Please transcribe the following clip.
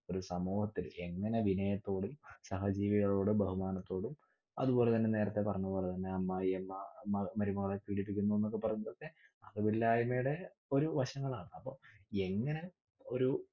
ഒരു സമൂഹത്തില് എങ്ങിനെ വിനയത്തോടെ സഹജീവികളോട് ബഹുമാനത്തോടും അതുപോലെതന്നെ നേരത്തെ പറഞ്ഞതുപോലെതന്നെ അമ്മായിഅമ്മ മമരുമകളെ പീഡിപ്പിക്കുന്നു എന്നൊക്കെ പറ അറിവില്ലായ്‍മയുടെ ഓരോ വശങ്ങളാണ്. അപ്പൊ എങ്ങിനെ ഒരു